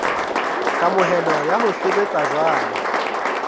kamohelo ya ho sebetsa jwalo